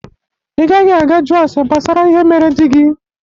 Ị gaghị aga jụọ ase gbasara ihe mere dị gi!